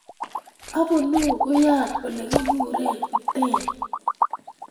Abunuu wian olekiguren Iten